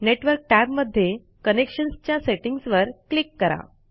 network tab मध्ये connections च्या settings वर क्लिक करा